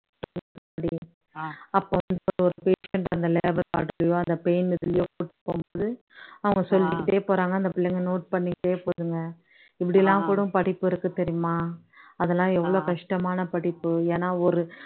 அவங்க சொல்லிக்கிட்டே போறாங்க அந்த புள்ளைங்க பண்ணிக்கிட்டே போதுங்க, இப்படியெல்லாம் கூட படிப்பு இருக்கு தெரியுமா, அதெல்லாம் எவ்ளோ கஷ்டமான படிப்பு ஏன்னா ஒரு